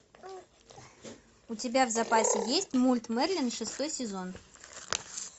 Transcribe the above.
у тебя в запасе есть мульт мерлин шестой сезон